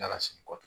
N'ala sɔnn'a kɔ